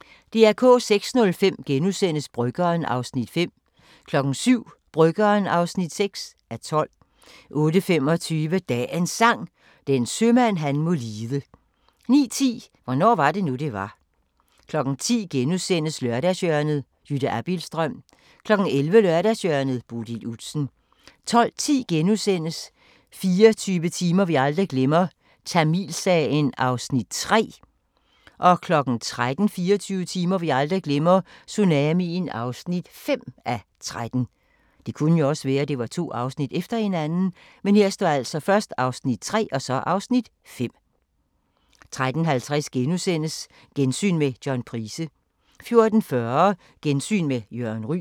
06:05: Bryggeren (5:12)* 07:00: Bryggeren (6:12) 08:25: Dagens Sang: Den sømand han må lide 09:10: Hvornår var det nu det var 10:00: Lørdagshjørnet – Jytte Abildstrøm * 11:00: Lørdagshjørnet - Bodil Udsen 12:10: 24 timer vi aldrig glemmer – Tamilsagen (3:13)* 13:00: 24 timer vi aldrig glemmer – tsunamien (5:13) 13:50: Gensyn med John Price * 14:40: Gensyn med Jørgen Ryg